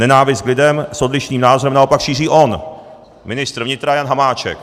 Nenávist k lidem s odlišným názorem naopak šíří on, ministr vnitra Jan Hamáček.